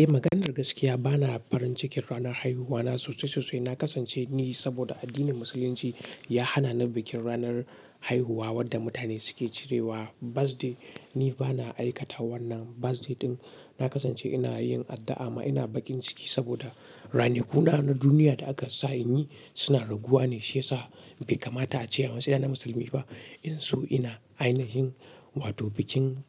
Eh, maganar gaskiya ba na farin cikin ranar haihuwana sosai sosai. Na kasance ni saboda addinin Musulunci ya hana ni bikin ranar haihuwa wanda mutane suke cirewa birthday. Ni ba na aikata wannan birthday ɗin. Na kasance ina yin addu'a ma ina bakin ciki saboda ranakuna na duniya da aka sa in yi suna raguwa ne shiyasa bai kamata a ce a matsayi na musulmi ba in so ina ainihin wato bikin